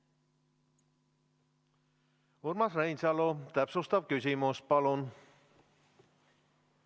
Urmas Reinsalu, täpsustav küsimus, palun!